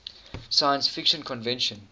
science fiction convention